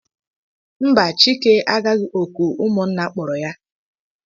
Mba, Chike agaghị òkù ụmụnna kpọrọ ya.